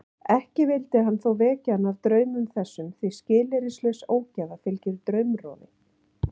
Ekki vildi hann þó vekja hana af draumum þessum því skilyrðislaus ógæfa fylgir draumrofi.